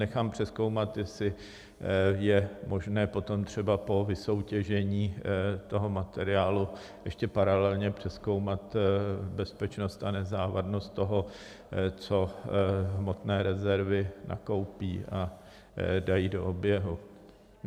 Nechám přezkoumat, jestli je možné potom třeba po vysoutěžení toho materiálu ještě paralelně přezkoumat bezpečnost a nezávadnost toho, co hmotné rezervy nakoupí a dají do oběhu.